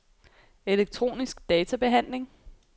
elektronisk databehandling